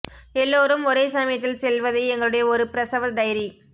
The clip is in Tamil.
எல்லோரும் ஒரே சமயத்தில் செல்வதை எங்களுடைய ஒரு பிரசவ டைரி